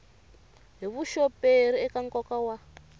hi vuxoperi eka nkoka wa